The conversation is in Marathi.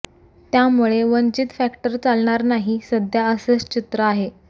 त्यामुळे वंचित फॅक्टर चालणार नाही सध्या असेच चित्र आहे